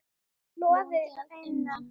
Logandi að innan.